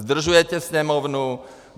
Zdržujete Sněmovnu.